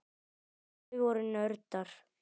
Þau voru nördar.